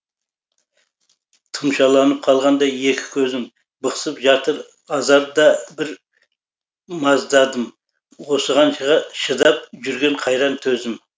тұмшаланып қалғандай екі көзім бықсып жатыр азар да бір маздадым осыған шыдап жүрген қайран төзім